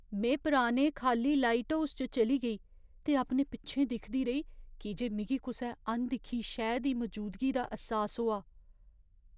में पुराने खाल्ली लाइटहाउस च चली गेई, ते अपने पिच्छें दिखदी रेही की जे मिगी कुसै अनदिक्खी शैऽ दी मजूदगी दा ऐह्सास होआ।